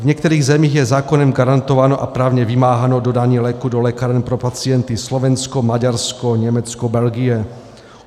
V některých zemích je zákonem garantováno a právně vymáháno dodání léků do lékáren pro pacienty: Slovensko, Maďarsko, Německo, Belgie.